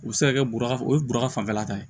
U bɛ se ka kɛ buru o ye bɔrɔ fanfɛla ta ye